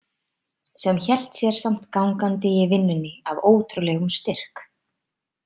Sem hélt sér samt gangandi í vinnunni af ótrúlegum styrk.